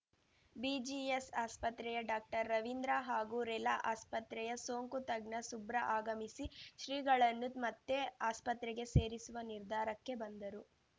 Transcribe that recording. BGS ಆಸ್ಪತ್ರೆಯ ಡಾಕ್ಟರ್ರವಿಂದ್ರ ಹಾಗೂ ರೆಲಾ ಆಸ್ಪತ್ರೆಯ ಸೋಂಕು ತಜ್ಞ ಸುಬ್ರಾ ಆಗಮಿಸಿ ಶ್ರೀಗಳನ್ನು ಮತ್ತೆ ಆಸ್ಪತ್ರೆಗೆ ಸೇರಿಸುವ ನಿರ್ಧಾರಕ್ಕೆ ಬಂದರು